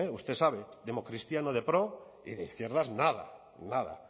usted sabe democristiano de pro y de izquierdas nada nada